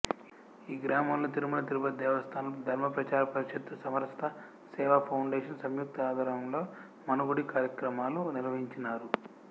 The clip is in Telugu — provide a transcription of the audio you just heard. ఈ గ్రామములో తిరుమల తిరుపతి దేవస్తానం ధర్మప్రచార పరిషత్తు సమరసత సేవా ఫౌండేషన్ సంయుక్త ఆధ్వర్యంలో మనగుడి కార్యక్రమాలు నిర్వహించినారు